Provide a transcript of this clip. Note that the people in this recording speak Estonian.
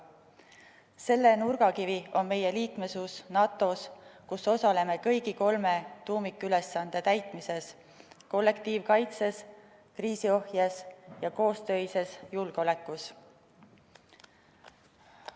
Selle nurgakivi on meie liikmesus NATO-s, kus osaleme kõigi kolme tuumikülesande täitmises: kollektiivkaitses, kriisiohjes ja koostöises julgeolekus.